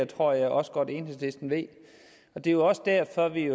tror jeg også godt at enhedslisten ved det er jo også derfor at vi